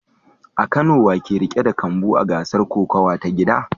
A Kano wa ke riƙe da kambu a gasar kokawa ta gida?